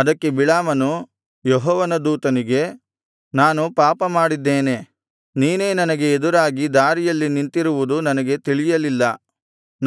ಅದಕ್ಕೆ ಬಿಳಾಮನು ಯೆಹೋವನ ದೂತನಿಗೆ ನಾನು ಪಾಪಮಾಡಿದ್ದೇನೆ ನೀನೇ ನನಗೆ ಎದುರಾಗಿ ದಾರಿಯಲ್ಲಿ ನಿಂತಿರುವುದು ನನಗೆ ತಿಳಿಯಲಿಲ್ಲ